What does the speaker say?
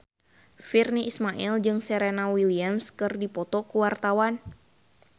Virnie Ismail jeung Serena Williams keur dipoto ku wartawan